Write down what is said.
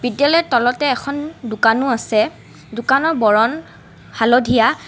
তেলে তলতে এখন দোকানো আছে দোকানৰ বৰণ হালধীয়া।